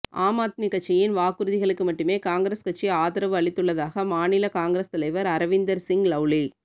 ஆம் ஆத்மி கட்சியின் வாக்குறுதிகளுக்கு மட்டுமே காங்கிரஸ் கட்சி ஆதரவு அளித்துள்ளதாக மாநில காங்கிரஸ் தலைவர் அரவிந்தர் சிங் லவ்லி